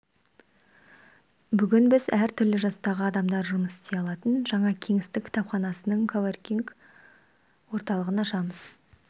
бүгін біз әр түрлі жастағы адамдар жұмыс істей алатын жаңа кеңістік кітапханасының коворкинг орталығын ашамыз